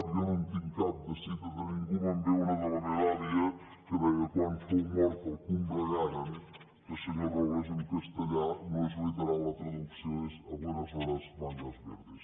jo no en tinc cap de cita de ningú me’n ve una de la meva àvia que deia quan fou mort el combregaren que senyor robles en castellà no és literal la traducció és a buenas horas mangas verdes